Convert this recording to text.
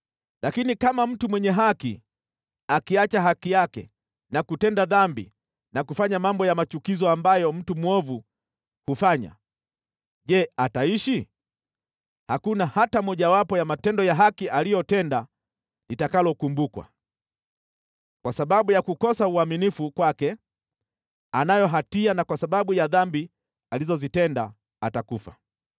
“Lakini kama mtu mwenye haki akiacha haki yake na kutenda dhambi na kufanya mambo ya machukizo ambayo mtu mwovu hufanya, Je, ataishi? Hakuna hata mojawapo ya matendo ya haki aliyotenda litakalokumbukwa. Kwa sababu ya kukosa uaminifu kwake anayo hatia na kwa sababu ya dhambi alizozitenda, atakufa.